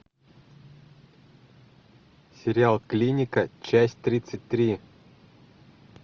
сериал клиника часть тридцать три